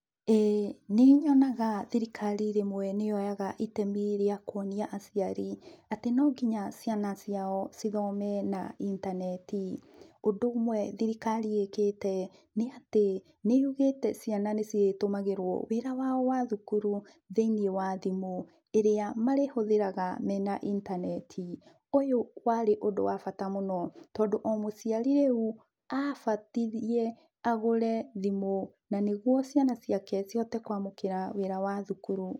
ĩĩ nĩ nyonaga thirikari rĩmwe nĩ yoyaga itemi rĩa kũonĩa aciari atĩ no nginya ciana ciao ci thome na intaneti. Ũndũ ũmwe thirikari ĩkĩte nĩ atĩ nĩ yugĩte ciana nĩ cĩrĩ tũmagĩrwo wĩra wao wa thukuru thĩinĩ wa thimũ ĩrĩa marĩhũthĩraga mena intaneti. Ũyũ warĩ ũndũ wa bata mũno tondũ o mũciari reu abatirĩe agũre thimũ na nĩgũo ciana ciake cihote kwamũkĩra wĩra wa thukuru.